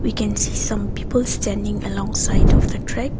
we can see some people standing alongside of the track.